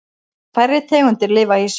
Færri tegundir lifa í sjó.